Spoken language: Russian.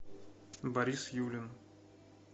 борис юлин